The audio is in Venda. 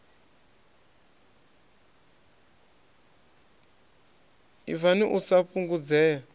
hiv na u sa fhungudzea